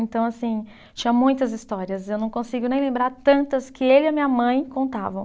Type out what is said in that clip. Então, assim, tinha muitas histórias, eu não consigo nem lembrar tantas que ele e a minha mãe contavam.